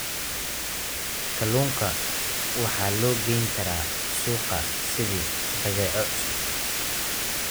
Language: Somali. Kalluunka waxa loo geyn karaa suuqa sidii badeeco cusub.